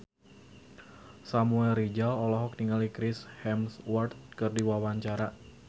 Samuel Rizal olohok ningali Chris Hemsworth keur diwawancara